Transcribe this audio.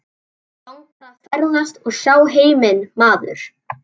Mig langar að ferðast og sjá heiminn maður.